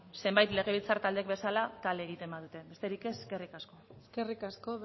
zenbait legebiltzar taldek bezala kale egiten badute besterik ez eskerrik asko eskerrik asko